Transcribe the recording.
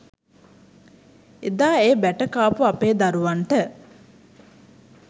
එදා ඒ බැට කාපු අපේ දරුවන්ට.